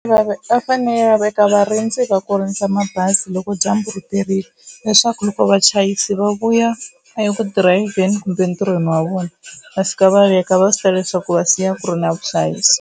Va ve va fanele va veka varindzi va ku rindza mabazi loko dyambu riperile leswaku loko vachayeri va vuya eku dirayivheni kumbe entirhweni wa vona va fika va veka va swi tiva leswaku va siya ku ri na vuhlayisi.